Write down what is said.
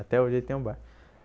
Até hoje ele tem um bar.